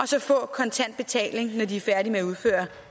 så får kontant betaling når de er færdige med at udføre